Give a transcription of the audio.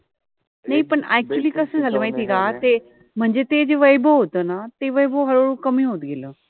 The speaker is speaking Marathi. मि पन अक्चुअलि {actually} कस झाल माहिति आहे का ते जे वैभव होत न ते हळूहळू कमि होत गेल